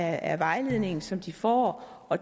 af vejledning som de får og